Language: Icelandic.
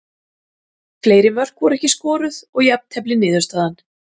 Fleiri mörk voru ekki skoruð og jafntefli niðurstaðan.